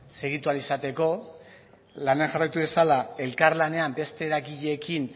segitu ahal izateko lanean jarraitu dezala elkarlanean beste eragileekin